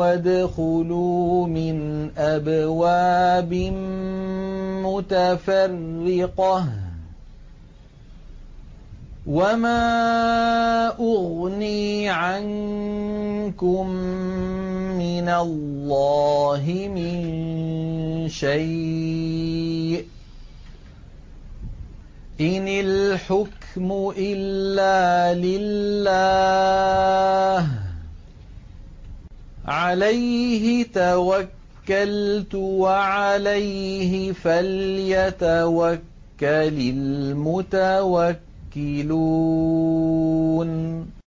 وَادْخُلُوا مِنْ أَبْوَابٍ مُّتَفَرِّقَةٍ ۖ وَمَا أُغْنِي عَنكُم مِّنَ اللَّهِ مِن شَيْءٍ ۖ إِنِ الْحُكْمُ إِلَّا لِلَّهِ ۖ عَلَيْهِ تَوَكَّلْتُ ۖ وَعَلَيْهِ فَلْيَتَوَكَّلِ الْمُتَوَكِّلُونَ